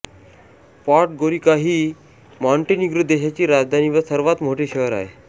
Podgorica ही Montenegro देशाची राजधानी व सर्वात मोठे शहर आहे